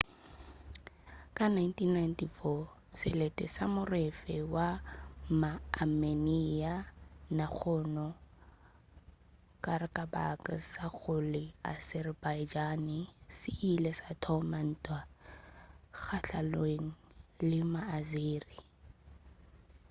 ka 1994 selete sa morafe wa maameniya nagorno-karabakh sa go la azerbaijan se ile sa thoma ntwa gahlanong le maazeri